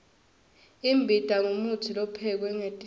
imbita ngumutsi lophekwe ngetihlahla